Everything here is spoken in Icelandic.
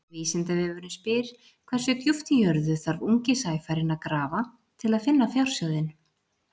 Vísindavefurinn spyr: Hversu djúpt í jörðu þarf ungi sæfarinn að grafa til að finna fjársjóðinn?